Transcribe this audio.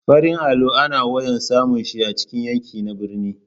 Farin allo ana wayan samun shi a cikin yanki na birni.